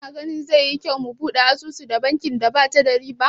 Kana ganin zai yi kyau mu buɗe asusu da bankin da bata da ribau?